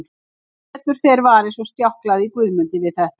Sem betur fer var eins og sljákkaði í Guðmundi við þetta.